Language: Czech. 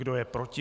Kdo je proti?